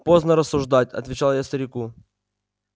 поздно рассуждать отвечал я старику